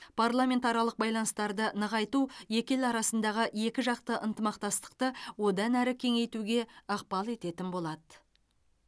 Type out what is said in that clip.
парламентаралық байланыстарды нығайту екі ел арасындағы екіжақты ынтымақтастықты одан әрі кеңейтуге ықпал ететін болады